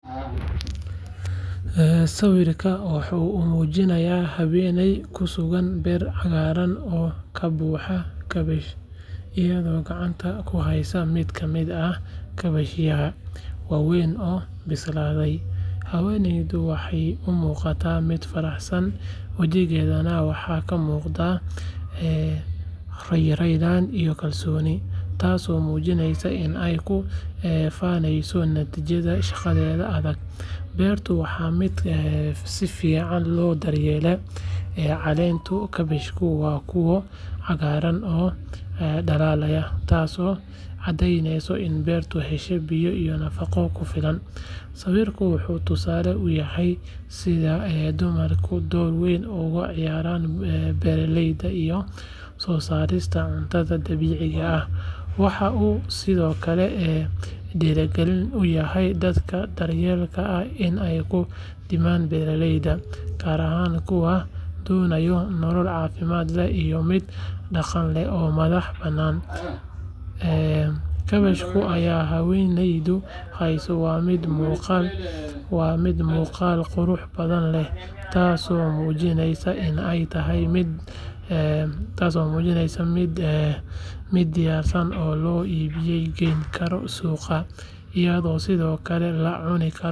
Sawirkan waxa uu muujinayaa haweeney ku sugan beer cagaaran oo ka buuxda kaabash, iyadoo gacanta ku haysa mid ka mid ah kaabashyadaas waaweyn oo bislaaday. Haweeneydu waxay u muuqataa mid faraxsan, wajigeedana waxaa ka muuqda raynrayn iyo kalsooni, taasoo muujinaysa in ay ku faaneyso natiijada shaqadeeda adag. Beertu waa mid si fiican loo daryeelay, caleenta kaabashkuna waa kuwo cagaaran oo dhalaalaya, taasoo caddeyneysa in beertu hesho biyo iyo nafaqo ku filan. Sawirkan wuxuu tusaale u yahay sida dumarku door weyn uga ciyaaraan beeralayda iyo soo saarista cuntada dabiiciga ah. Waxa uu sidoo kale dhiirigelin u yahay dadka da'yarta ah in ay ku dhiiradaan beeralayda, gaar ahaan kuwa doonaya nolol caafimaad leh iyo mid dhaqaale oo madax bannaan. Kaabashka ay haweeneydu haysaa waa mid muuqaal qurux badan leh, taasoo muujinaysa in ay tahay mid diyaarsan oo loo iib geyn karo suuqyada, iyadoo sidoo kale la cuni karo.